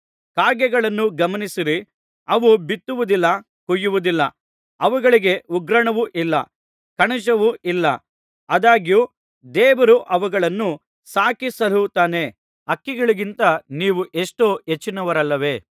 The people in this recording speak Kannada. ಕಾಗೆಗಳನ್ನು ಗಮನಿಸಿರಿ ಅವು ಬಿತ್ತುವುದಿಲ್ಲ ಕೊಯ್ಯುವುದಿಲ್ಲ ಅವುಗಳಿಗೆ ಉಗ್ರಾಣವೂ ಇಲ್ಲ ಕಣಜವೂ ಇಲ್ಲ ಆದಾಗ್ಯೂ ದೇವರು ಅವುಗಳನ್ನು ಸಾಕಿಸಲಹುತ್ತಾನೆ ಹಕ್ಕಿಗಳಿಗಿಂತ ನೀವು ಎಷ್ಟೋ ಹೆಚ್ಚಿನವರಲ್ಲವೇ